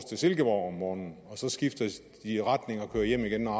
til silkeborg om morgenen og så skifter de retning og kører hjem igen når